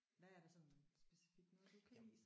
Hvad er der sådan specifikt noget du kan lide?